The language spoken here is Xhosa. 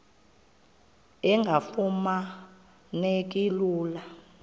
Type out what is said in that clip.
engafuma neki lula